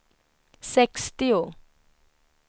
sextio